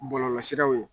Bɔlɔlɔsiraw ye